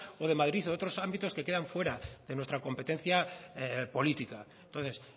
o de madrid o de otros ámbitos que quedan fuera de nuestra competencia política entonces